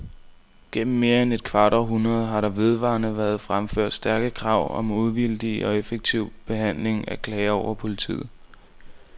Igennem mere end et kvart århundrede har der vedvarende været fremført stærke krav om uvildig og effektiv behandling af klager over politiet.